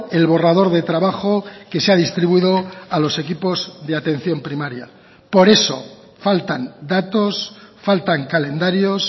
el borrador de trabajo que se ha distribuido a los equipos de atención primaria por eso faltan datos faltan calendarios